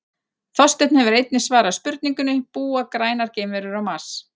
Þorsteinn hefur einnig svarað spurningunni Búa grænar geimverur á Mars?